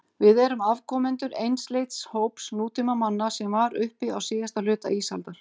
Við erum afkomendur einsleits hóps nútímamanna sem var uppi á síðasta hluta ísaldar.